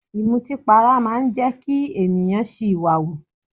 Ìmọtínpara máa ń jẹ́ kí ènìyàn ṣìwàhù.